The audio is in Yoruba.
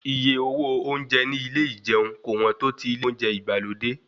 Iye owó oúnjẹ ní ilé ìjẹun kò wọ́n tó ti ilé oúnjẹ ìgbàlódé.